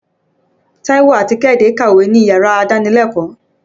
Táíwò àti Kẹ́hìndé ń kàwé níyàrá ìdánilẹ́kòọ́.